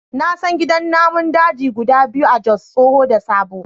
Na san gidan namun daji guda biyu a Jos, tsoho da sabo.